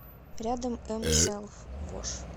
рядом эм сэлфвош